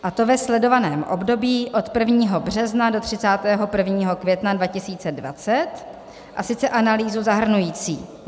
... a to ve sledovaném období od 1. března do 31. května 2020, a sice analýzu zahrnující